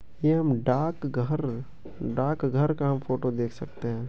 ये हम डाक घर डाकघर का फोटो देख सकते हैं।